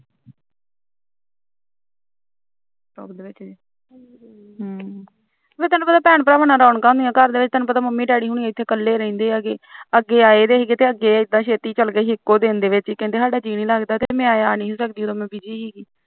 ਹਮ ਤੈਨੂੰ ਪਤਾ ਭੈਣ ਭਰਾਵਾਂ ਨਾਲ ਰੋਣਕਾਂ ਹੁੰਦੀਆਂ ਘਰ ਵਿੱਚ ਮੰਮੀ daddy ਹੁਨੀ ਇਥੇ ਇਕੱਲੇ ਰਹਿੰਦੇ ਹੈਗੇ ਅੱਗ ਆਏ ਸੀ ਇਦਾ ਛੇਤੀ ਚਲਗੇ ਸੀ ਇਕੋ ਦਿਨ ਦੇ ਵਿੱਚ ਕਹਿੰਦੇ ਸਾਡਾ ਜੀਅ ਨੀ ਲਗਦਾ ਮੈਂ ਆਈ ਨੀ ਸੀ ਮੈਂ busy ਸੀ